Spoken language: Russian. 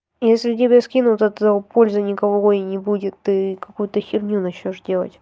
если тебе скину от этого пользы никакой не будет ты какую-то фигню начнёшь делать